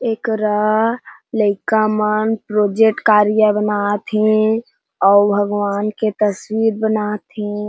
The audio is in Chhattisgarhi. एकरा लइका मन प्रोजेक्ट कार्य बनाथे अउ भगवान के तस्वीर बनाथे।